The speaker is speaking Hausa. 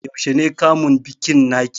Yaushe ne kamun bikin naki?